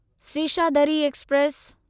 Seshadri express